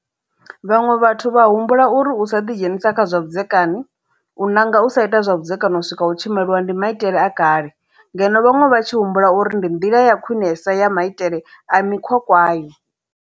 Vhaṅwe vhathu vha humbula uri u sa ḓidzhenisa kha zwa vhudzekani, u nanga u sa ita zwa vhudzekani u swika u tshi maliwa ndi maitele a kale, ngeno vhaṅwe vha tshi humbula uri ndi nḓila ya khwiṋesa ya maitele a mikhwa kwayo.